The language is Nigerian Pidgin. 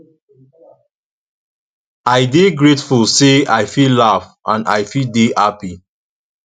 i dey grateful say i fit laugh and i fit dey hapi